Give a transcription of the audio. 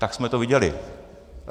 Tak jsme to viděli.